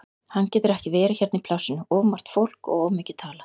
Hann getur ekki verið hérna í plássinu, of margt fólk og of mikið talað.